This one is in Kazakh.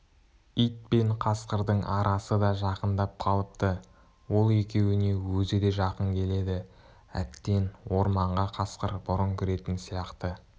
ит пен қасқырдың арасы да жақындап қалыпты ол екеуіне өзі де жақын келеді әттең орманға қасқыр бұрын кіретін сияқты